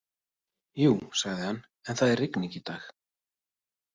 Jú, sagði hann, en það er rigning í dag.